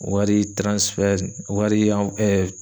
Wari wari yan